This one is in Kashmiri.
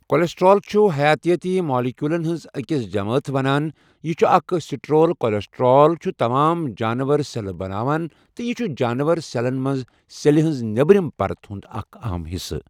کولیسٹرول چھُ حَیاتیٲتی مالِکیولَن ہہٕنٛز أکِس جَماتھ وَنان یہٕ چھُ اَکھ سٹرول کولیسٹرول چھُ تمام جانور سؠلہٕ بَناوَن تہٕ یہِ چھُ جانور سؠلَن مَنٛز سؠلہِ ہٕنٛز نؠبرِم پَرت ہُنٛد اَکھ اَہَم حِصہٕ.